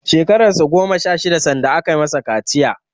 Shekarar sa goma sha shida sanda aka masa kaciya.